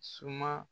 Suma